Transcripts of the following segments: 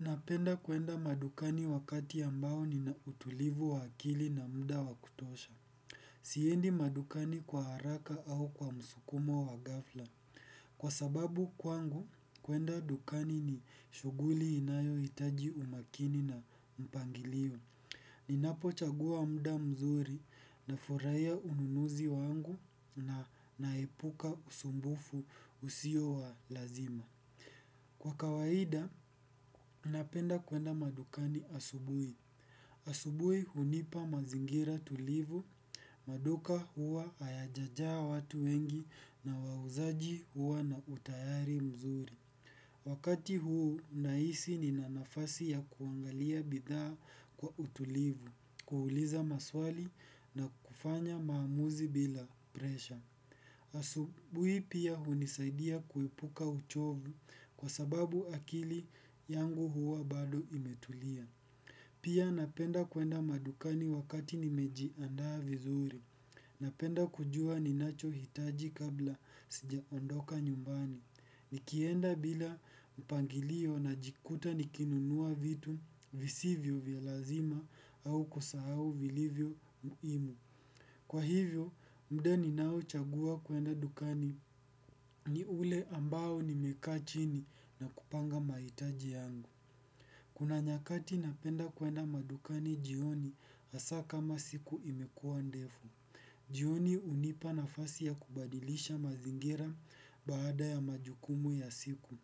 Napenda kwenda madukani wakati ambao nina utulivu wa akili na muda wa kutosha. Siendi madukani kwa haraka au kwa msukumo wa ghafla. Kwa sababu kwangu, kwenda dukani ni shughuli inayohitaji umakini na mpangilio. Ninapochagua muda mzuri nafurahia ununuzi wangu na naepuka usumbufu usio wa lazima. Kwa kawaida, napenda kwenda madukani asubuhi. Asubuhi hunipa mazingira tulivu, maduka huwa hayajajaa watu wengi na wauzaji huwa na utayari mzuri. Wakati huu nahisi nina nafasi ya kuangalia bidhaa kwa utulivu, kuuliza maswali na kufanya maamuzi bila presha. Asubuhi pia hunisaidia kuepuka uchovu kwa sababu akili yangu huwa bado imetulia. Pia napenda kwenda madukani wakati nimejiandaa vizuri. Napenda kujua ninachohitaji kabla sijaondoka nyumbani. Nikienda bila mpangilio najikuta nikinunua vitu visivyo vya lazima au kusahau vilivyo muhimu. Kwa hivyo, muda ninaochagua kwenda dukani ni ule ambao nimekaa chini na kupanga mahitaji yangu. Kuna nyakati napenda kwenda madukani jioni hasa kama siku imekuwa ndefu. Jioni hunipa nafasi ya kubadilisha mazingira baada ya majukumu ya siku.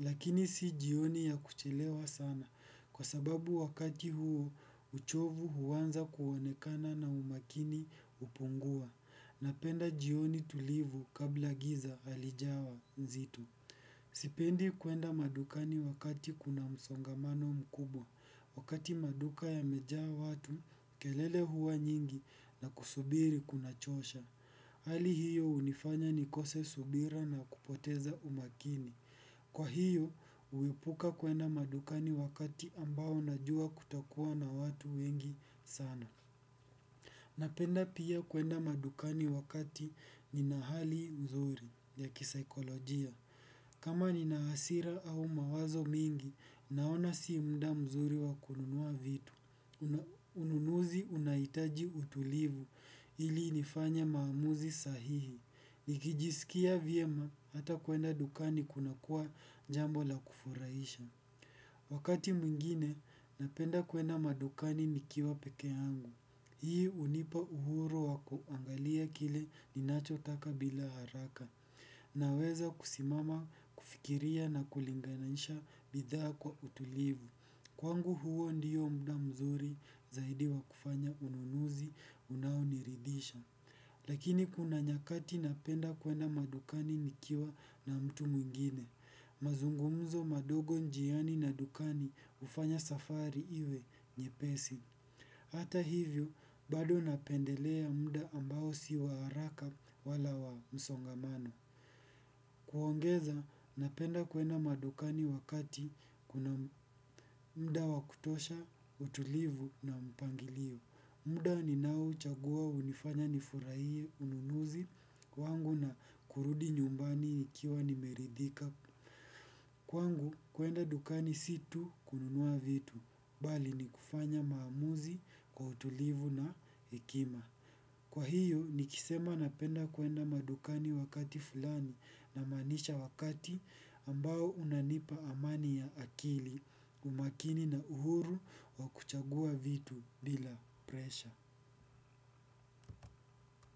Lakini si jioni ya kuchelewa sana kwa sababu wakati huo uchovu huanza kuonekana na umakini hupungua napenda jioni tulivu kabla giza halijawa nzito. Sipendi kwenda madukani wakati kuna msongamano mkubwa. Wakati maduka yamejaa watu kelele huwa nyingi na kusubiri kunachosha. Hali hiyo hunifanya nikose subira na kupoteza umakini. Kwa hiyo, huepuka kwenda madukani wakati ambao najua kutakuwa na watu wengi sana. Napenda pia kwenda madukani wakati nina hali nzuri ya kisaikolojia. Kama nina hasira au mawazo mingi, naona si muda mzuri wa kununua vitu. Ununuzi unahitaji utulivu ili nifanye maamuzi sahihi. Nikijisikia vyema hata kwenda dukani kunakuwa jambo la kufurahisha. Wakati mwingine napenda kwenda madukani nikiwa peke yangu. Hii hunipa uhuru wa kuangalia kile ninachotaka bila haraka. Naweza kusimama kufikiria na kulinganisha bidhaa kwa utulivu kwangu huo ndiyo muda mzuri zaidi wa kufanya ununuzi unaoniridisha. Lakini kuna nyakati napenda kwenda madukani nikiwa na mtu mwingine mazungumzo madogo njiani na dukani hufanya safari iwe nyepesi. Hata hivyo, bado napendelea muda ambao si wa haraka wala wa msongamano. Kuongeza, napenda kwenda madukani wakati kuna muda wa kutosha, utulivu na mpangilio. Muda ninaouchagua hunifanya nifuraihie ununuzi wangu na kurudi nyumbani nikiwa nimeridhika. Kwangu kwenda dukani si tu kununua vitu, bali ni kufanya maamuzi kwa utulivu na hekima. Kwa hiyo, nikisema napenda kwenda madukani wakati fulani namaanisha wakati ambao unanipa amani ya akili, umakini na uhuru wa kuchagua vitu bila presha.